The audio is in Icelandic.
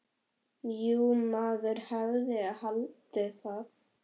Jú, maður hefði haldið það.